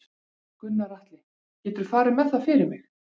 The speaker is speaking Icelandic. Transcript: Gunnar Atli: Geturðu farið með það fyrir mig?